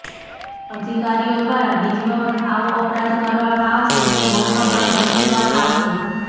અધિકારીઓ દ્વારા બીજી વખત આવો અપરાધ કરવામાં આવશે તો બમણો દંડ વસુલવામાં આવશે